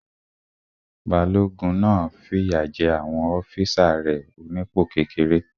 Balógun náà fìyà jé àwọn ọ́físà rẹ̀ onípò kékeré